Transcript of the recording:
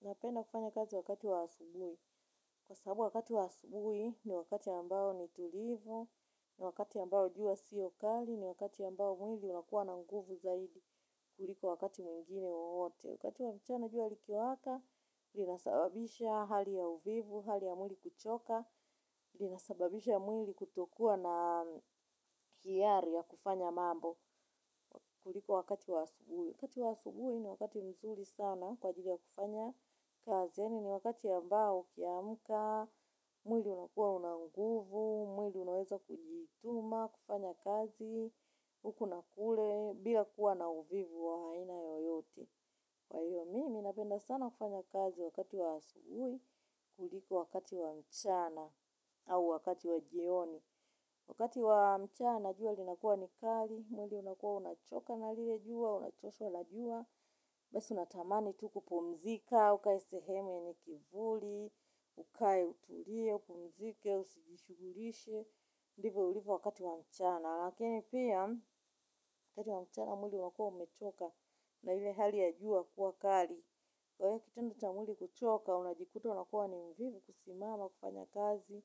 Napenda kufanya kazi wakati wa asubuhi. Kwa sababu wakati wa asubuhi ni wakati ambao ni tulivu, ni wakati ambao jua sio kali, ni wakati ambao mwili unakuwa na nguvu zaidi kuliko wakati mwingine wowote. Wakati wa mchana jua likiwaka linasababisha hali ya uvivu, hali ya mwili kuchoka, linasababisha mwili kutokuwa na hiari ya kufanya mambo kuliko wakati wa asubuhi. Wakati wa asubuhi ni wakati mzuri sana kwa ajili ya kufanya kazi. Yaani ni wakati ambao ukiamka, mwili unakuwa una nguvu, mwili unaweza kujituma, kufanya kazi, huku na kule, bila kuwa na uvivu wa aina yoyote. Kwa hiyo, mimi napenda sana kufanya kazi wakati wa asubuhi kuliko wakati wa mchana au wakati wa jioni. Wakati wa mchana jua linakuwa ni kali, mwili unakuwa unachoka na lile jua, unachoshwa na jua, basi unatamani tu kupumzika, ukae sehemu yenye kivuli, ukae utulie, upumzike, usijishughulishe, ndivyo ulivyo wakati wa mchana. Lakini pia wakati wa mchana mwili unakuwa umechoka na ile hali ya jua kuwa kali. Kwa hiyo kitendo cha mwili kuchoka, unajikuta unakuwa ni mvivu kusimama kufanya kazi,